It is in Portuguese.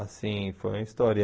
Assim, foi uma história.